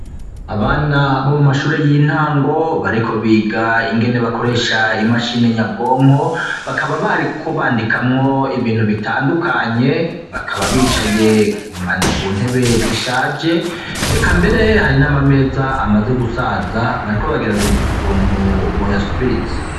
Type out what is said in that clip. Abana bo mu mashure y'intango bariko biga ingene bakoresha imashine nyabwonko bakaba bariko bandikamwo ibintu bitandukanye bakaba bicaye ku ntebe zishaje reka mbere hari n'amameza amaze gusaza bariko bagerageza ukuntu boyasubiriza.